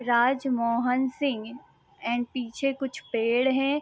Rajmohan Singh and पीछे कुछ पेड़ है।